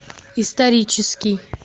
исторический